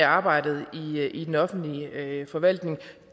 arbejdet i den offentlige forvaltning